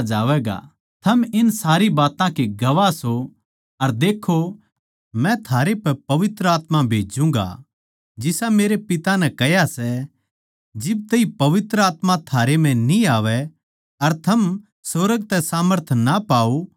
अर देक्खो मै थारै पे पवित्र आत्मा भेज्जूँगा जिसा मेरे पिता नै कह्या सै जिब तैई पवित्र आत्मा थारे पै न्ही आवै अर थम सुर्ग तै सामर्थ ना पाओ जब ताहीं इसै नगर म्ह रुके रहो